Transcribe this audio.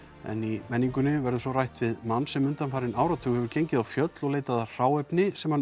en í menningunni verður rætt við mann sem undanfarinn áratug hefur gengið á fjöll og leitað að hráefni sem hann